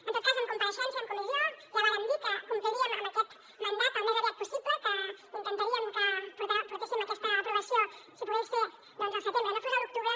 en tot cas en compareixença i en comissió ja vàrem dir que compliríem amb aquest mandat al més aviat possible que intentaríem portar aquesta aprovació si pogués ser doncs al setembre que no fos a l’octubre